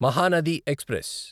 Mahanadi express